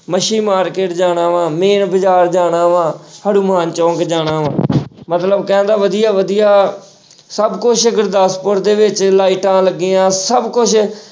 ਮੱਛੀ market ਜਾਣਾ ਵਾਂ main ਬਾਜ਼ਾਰ ਜਾਣਾ ਵਾਂ, ਹਨੂੰਮਾਨ ਚੌਂਕ ਜਾਣਾ ਵਾਂ ਮਤਲਬ ਕਹਿਣ ਦਾ ਵਧੀਆ-ਵਧੀਆ ਸਭ ਕੁਛ ਗੁਰਦਾਸਪੁਰ ਦੇ ਵਿੱਚ ਲਾਈਟਾਂ ਲੱਗੀਆਂ ਸਭ ਕੁਛ